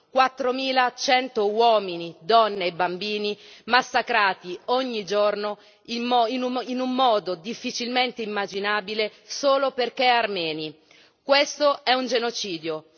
4100 uomini, donne e bambini massacrati ogni giorno in un modo difficilmente immaginabile solo perché armeni, questo è un genocidio.